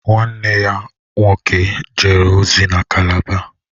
Nwanne ya nwoke jere ozi na Calabar?